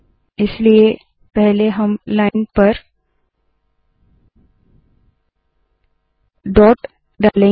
इसलिए पहले हम लाइन पर dotडॉट डालेंगे